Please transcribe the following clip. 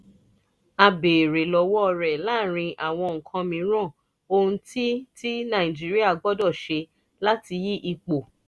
a béèrè lọ́wọ́ rẹ̀ láàárín àwọn nǹkan mìíràn ohun tí tí nàìjíríà gbọ́dọ̀ ṣe láti yí ipò